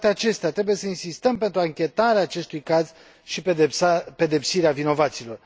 Cu toate acestea, trebuie să insistăm pentru anchetarea acestui caz și pedepsirea vinovaților.